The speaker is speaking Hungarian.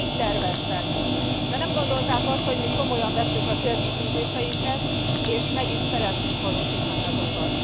Így terveztek, de nem gondolták azt, hogy mi komolyan vesszük a célkitűzéseinket, és meg is szeretnénk valósítani azokat.